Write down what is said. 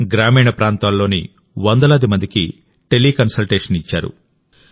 గ్రామీణ ప్రాంతాల్లోని వందలాది మందికి టెలికన్సల్టేషన్ ఇచ్చారు